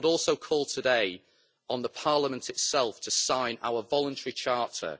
I would also call today on Parliament itself to sign our voluntary charter,